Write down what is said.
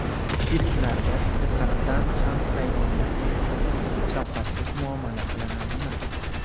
Sirklarda haqiqatan ham hayvonlarga nisbatan shafqatsiz muomala qilinadimi?